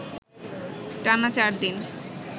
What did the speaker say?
টানা চারদিন